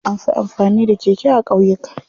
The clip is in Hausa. Anfi amfani da keke a ƙauyuka.